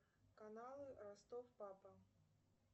каналы ростов папа